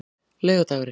laugardagurinn